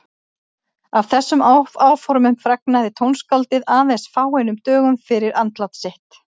Af þessum áformum fregnaði tónskáldið aðeins fáeinum dögum fyrir andlát sitt.